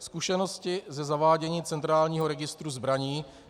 Zkušenosti ze zavádění centrálního registru zbraní -